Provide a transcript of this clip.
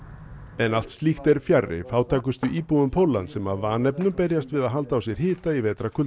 en allt slíkt er fjarri fátækustu íbúum Póllands sem af vanefnum berjast við að halda á sér hita í